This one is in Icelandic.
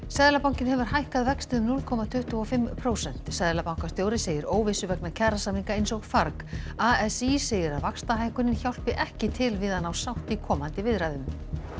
seðlabankinn hefur hækkað vexti um núll komma tuttugu og fimm prósent seðlabankastjóri segir óvissu vegna kjarasamninga eins og farg a s í segir að vaxtahækkunin hjálpi ekki til við að ná sátt í komandi viðræðum